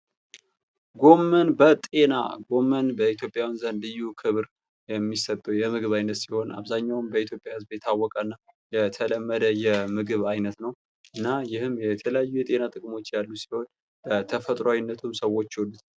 ጎመን በጤና ጎመን በኢትዮጵያውያን ዘንድ ልዩ ክብር የሚሰጠው የምግብ አይነት ሲሆን አብዛኛውን በኢትዮጵያ ህዝብ የታወቀ እና የተለመደ የምግብ ዓይነት ነው :: እና ይሄም የተለያዩ የጤና ጥቅሞች ያሉ ሲሆን ተፈጥሮዊነቱን ሰዎች ይወዱታል ::